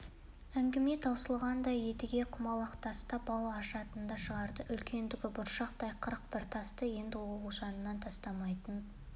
әңгіме таусылғанда едіге құмалақтаспен бал ашатынды шығарды үлкендігі бұршақтай қырық бір тасты енді ол жанынан тастамайтын